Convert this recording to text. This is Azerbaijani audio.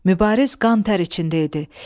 Mübariz qan-tər içində idi.